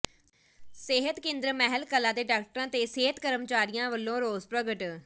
ਸਿਹਤ ਕੇਂਦਰ ਮਹਿਲ ਕਲਾਂ ਦੇ ਡਾਕਟਰਾਂ ਤੇ ਸਿਹਤ ਕਰਮਚਾਰੀਆਂ ਵੱਲੋਂ ਰੋਸ ਪ੍ਰਗਟ